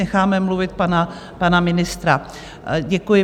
Necháme mluvit pana ministra, děkuji.